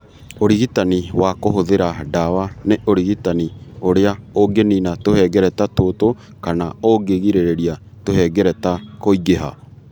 Ũrigitani wa kũhũthĩra ndawa nĩ ũrigitani ũrĩa ũngĩniina tũhengereta tũtũ kana ũngĩrigĩrĩria tũhengereta kũingĩha.